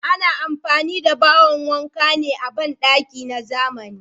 Ana amfani da bawon wanka ne a bandakin zamani.